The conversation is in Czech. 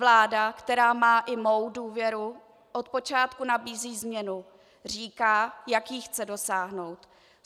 Vláda, která má i mou důvěru, od počátku nabízí změnu, říká, jak jí chce dosáhnout.